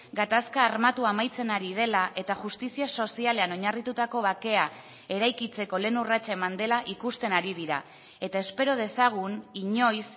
gatazka armatua amaitzen ari dela eta justizia sozialean oinarritutako bakea eraikitzeko lehen urratsa eman dela ikusten ari dira eta espero dezagun inoiz